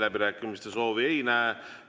Läbirääkimiste soovi ei näe.